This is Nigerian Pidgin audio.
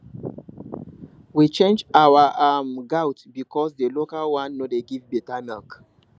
we change our um goat because the local one no dey give better milk